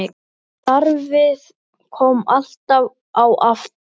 Starfið kom alltaf á eftir.